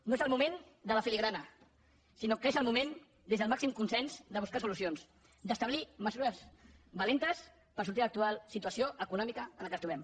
no és el moment de la filigrana sinó que és el moment des del màxim consens de buscar solucions d’establir mesures valentes per sortir de l’actual situació econòmica en què ens trobem